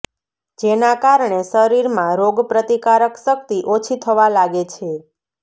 જેના કારણે શરીરમાં રોગ પ્રતિકારક શક્તિ ઓછી થવા લાગે છે